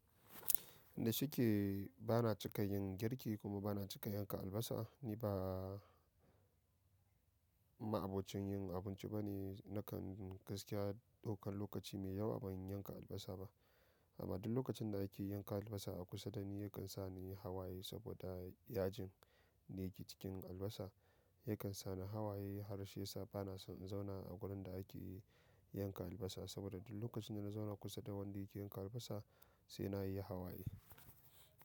Yanda shike bana cika yin girki kuma bana cika yanka albasa. Ni ba ma'abocin yin abinci bane, nakan gaskiya ɗaukan lokaci mai yawa ban yanka albasa ba. Amma duk lokacin da ake yanka albasa a kusa da ni yakan sa ni yi hawaye saboda yajin da yake cikin albasa yakan sa ni hawaye, harshe yasa bana son in zauna a wurin da ake yanka albasa saboda duk lokacin da na zauna kusa da wanda yake yanka albasa sai na yi hawaye.